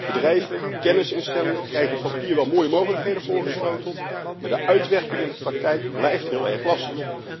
Bedrijven en kennisinstellingen krijgen op papier wel mooie mogelijkheden voorgeschoteld, maar de uitwerking in de praktijk blijft heel erg lastig.